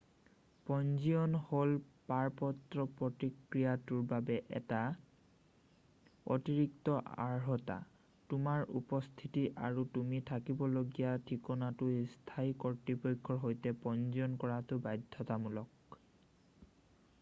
পঞ্জীয়ন হ'ল পাৰপত্ৰ প্ৰক্ৰিয়াটোৰ বাবে এটা অতিৰিক্ত অৰ্হতা তোমাৰ উপস্থিতি আৰু তুমি থাকিবলগীয়া ঠিকনাটো স্থানীয় কৰ্তৃপক্ষৰ সৈতে পঞ্জীয়ন কৰাটো বাধ্যতামূলক